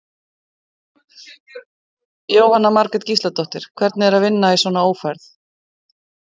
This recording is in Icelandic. Jóhanna Margrét Gísladóttir: Hvernig er að vinna í svona ófærð?